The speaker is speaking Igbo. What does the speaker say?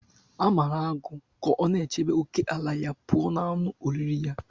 A mara agụ ka ọ na-echebe ókèala ya pụọ ​​na anụ oriri ya.